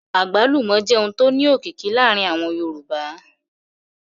Àgbálùmọ́ jẹ́ ohun tó ní òkìkí láàárín àwọn Yorùbá